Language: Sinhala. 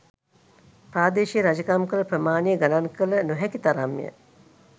ප්‍රාදේශීය රජකම් කළ ප්‍රමාණය ගණන් කළ නො හැකි තරම් ය.